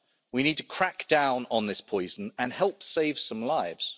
We need to crack down on this poison and help save some lives.